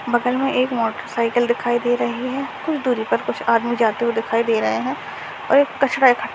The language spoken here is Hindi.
बगल में एक मोटरसाइकिल दिखाई दे रही है कुछ दुरी पर कुछ आदमी जाते हुए दिखाई दे रहे हैं और ये कचरा इक --